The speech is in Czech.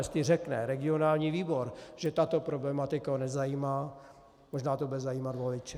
Jestli řekne regionální výbor, že tato problematika ho nezajímá, možná to bude zajímat voliče.